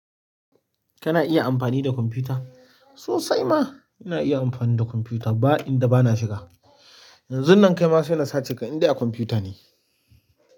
Kana iya amfani da kwamfuta? Sosai ma ina iya amfani da kwamfuta ba inda ba na shiga. Yanzun nan kai ma sai na sace ka indai akwamfuta ne.